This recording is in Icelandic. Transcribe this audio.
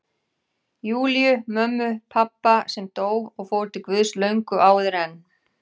Júlíu, mömmu pabba, sem dó og fór til Guðs löngu áður en